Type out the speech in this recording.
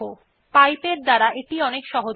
আমরা এটি অনেক সহজেই পাইপ ব্যবহার করে কাজটি করতে পারি